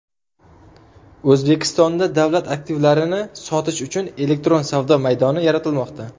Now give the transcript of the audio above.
O‘zbekistonda davlat aktivlarini sotish uchun elektron savdo maydoni yaratilmoqda.